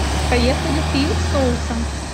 поехали три соуса